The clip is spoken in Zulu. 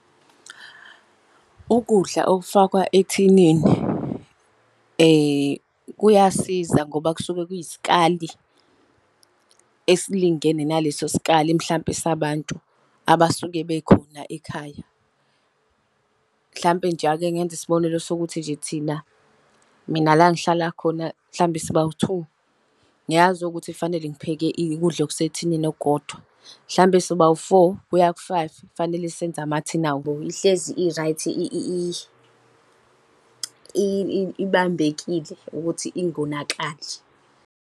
Ukudla okufakwa ethinini kuyasiza ngoba kusuke kuyisikali esilingene naleso sikali mhlampe sabantu abasuke bekhona ekhaya. Mhlampe nje ake ngenze isibonelo sokuthi nje thina, mina la ngihlala khona mhlampe sibawu-two, ngiyazi ukuthi kufanele ngipheke ukudla okusethinini okukodwa. Mhlampe sobawu-four kuya ku-five, kufanele senze amathini . Ihlezi i-right ibambekile ukuthi ingonakali.